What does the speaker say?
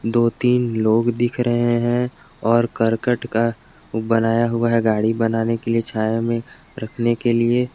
दो तीन लोग दिख रहे हैं और करकट का बनाया हुआ गाड़ी बनाने के लिए छाया मे रखने के लिए।